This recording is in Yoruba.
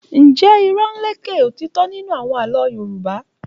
Njẹ irọ́ n lékè ótítọ́ nínú àwọn àlọ́ Yorùbá?